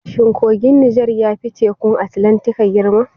Shin kogin Nijar ya fi Tekun Atlantika girma?